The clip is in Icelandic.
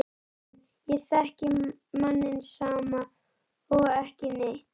SÓLRÚN: Ég þekki manninn sama og ekki neitt.